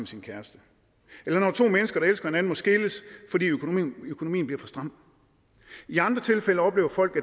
sin kæreste eller når to mennesker der elsker hinanden må skilles fordi økonomien bliver for stram i andre tilfælde oplever folk